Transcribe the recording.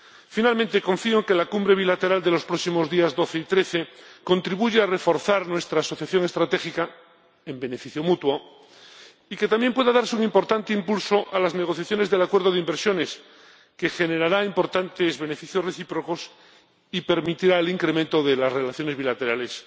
Finalmente, confío en que la cumbre bilateral de los próximos días 12 y 13 contribuya a reforzar nuestra asociación estratégica, en beneficio mutuo, y que también pueda darse un importante impulso a las negociaciones del acuerdo de inversiones, que generará importantes beneficios recíprocos y permitirá el incremento de las relaciones bilaterales